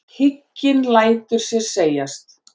Hygginn lætur sér segjast.